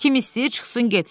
Kim istəyir çıxsın getsin.